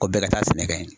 Ko bɛɛ ka taa sɛnɛ kɛ yen